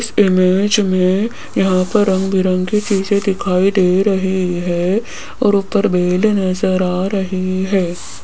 इस इमेज में यहाँ पर रंग बिरंगे चीज़े दिखाई दे रही हैं और ऊपर बेल नजर आ रही हैं।